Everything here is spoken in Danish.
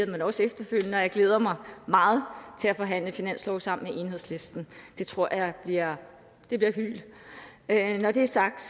men også efterfølgende og jeg glæder mig meget til at forhandle finanslov sammen med enhedslisten det tror jeg jeg bliver hylt når det er sagt